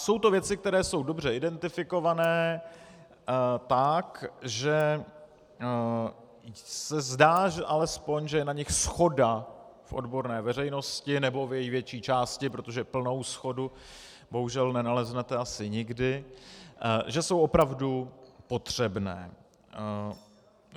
Jsou to věci, které jsou dobře identifikované tak, že se zdá alespoň, že je na nich shoda v odborné veřejnosti, nebo v její větší části, protože plnou shodu bohužel nenaleznete asi nikdy, že jsou opravdu potřebné.